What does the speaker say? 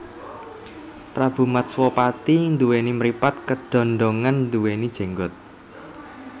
Prabu Matswapati nduwèni mripat keddondongan nduwèni jenggot